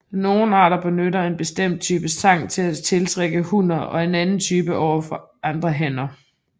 Nogle arter benytter en bestemt type sang til at tiltrække hunner og en anden type overfor andre hanner